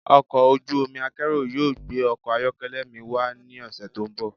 Ọkọ̀ ojú omi akérò yóò gbé ọkọ̀ ayọ́kẹ́lẹ́ mi wá ní ọ̀sẹ̀ tó ń bọ̀.